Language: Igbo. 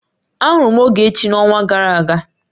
Ahụrụ m Ogechi n'ọnwa gara aga